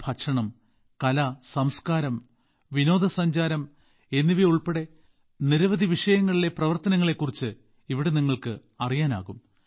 ഭക്ഷണം കല സംസ്കാരം വിനോദസഞ്ചാരം എന്നിവയുൾപ്പെടെ നിരവധി വിഷയങ്ങളിലെ പ്രവർത്തനങ്ങളെക്കുറിച്ച് ഇവിടെ നിങ്ങൾക്ക് അറിയാനാകും